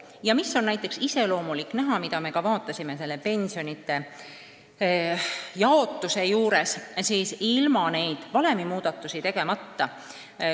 Ja veel üks iseloomulik näide selle kohta, kuidas kujuneksid pensionid ilma neid valemimuudatusi tegemata.